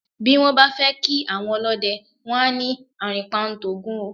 Bí wọ́n bá fẹ́ kí àwọn ọlọ́dẹ, wọ́n á ní "àrìnpa ń t'Ògún o".